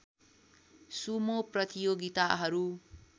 Sumo प्रतियोगिताहरू